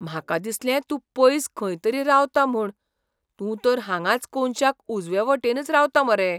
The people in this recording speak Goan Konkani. म्हाका दिसलें तूं पयस खंय तरी रावता म्हूण. तूं तर हांगांच कोनशाक उजवेवटेनच रावता मरे.